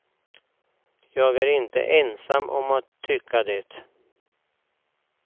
Jag är inte ensam om att tycka det.